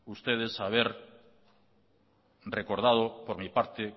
ustedes haber recordado por mi parte